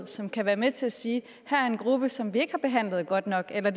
som kan være med til at sige at her er en gruppe som vi ikke har behandlet godt nok eller